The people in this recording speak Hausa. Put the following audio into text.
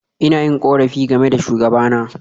Ina yin korafi game da shugabana.